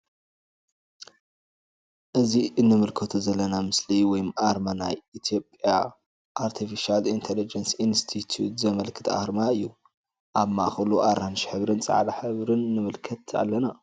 እዚ እንምልከቶ ዘለና ምስሊ ወይም አርማ ናይ ኢትዮጵያ አርቲፍሻል ኢንተለጀንስ ኢንስቲትዩት ዘመልክት አርማ እዩ::አብ ማእከሉ አራንሺ ሕብርን ፃዕዳን ንምልከት አለና::